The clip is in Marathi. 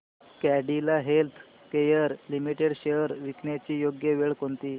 कॅडीला हेल्थकेयर लिमिटेड शेअर्स विकण्याची योग्य वेळ कोणती